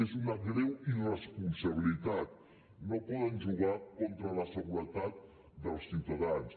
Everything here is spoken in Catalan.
és una greu irresponsabilitat no poden jugar contra la seguretat dels ciutadans